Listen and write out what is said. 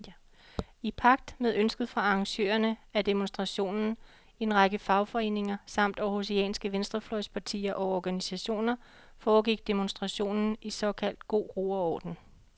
I pagt med ønsket fra arrangørerne af demonstrationen, en række fagforeninger samt århusianske venstrefløjspartier og organisationer, foregik demonstrationen i såkaldt god ro og orden.